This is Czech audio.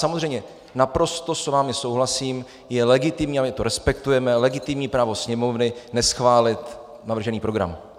Samozřejmě, naprosto s vámi souhlasím, je legitimní, a my to respektujeme, legitimní právo Sněmovny neschválit navržený program.